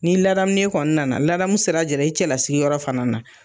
Ni ladamulen kɔni nana ladamu sira jira i cɛla lasigi yɔrɔ fana na!